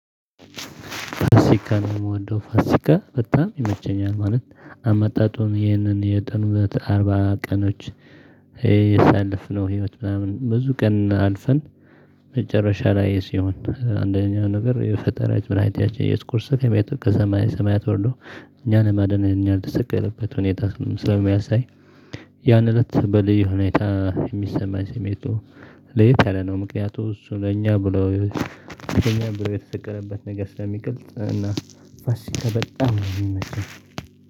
ፋሲካ ነው የምወደው ፋሲካ በጣም ይመቸኛል። ማለት አመጣጡ ይህንን የጥንበት አርባ ቀኖች የሳለፍነው ህይወት ምናምን ብዙ ቀን አልፈን መጨረሻ ላይ ሲሆን አንደኛው ነገር የፈጠራች መዳኒታችን እየሱስ ክርስቶስ ከቤተክርስቲያን ከሰማይ ሰማያት ወርዶ እኛን ለማደን ለእኛ የተሰቀለበት ሁኔታ ስለሚያሳይ ያን እለት በልዩ ሁኔታ የሚሰማኝ ስሜቱ ለየት ያለ ነው። ምክንያቱም እሱ ለእኛ ብሎ ለኛ ብሎ የተሰቀለበት ነገር ስለሚገልጽ እና ፋሲካ በጣም ነው የሚመቸኝ።